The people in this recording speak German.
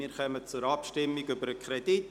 Wir kommen zur Abstimmung über den Kredit.